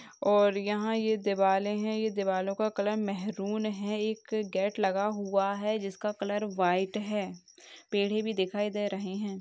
और यहाँ ये दिवाले है ये दिवालो का कलर मेहरून है एक गेट लगा हुआ है जिसका कलर व्हाइट है पेड़े भी दिखाई दे रहे हैं ।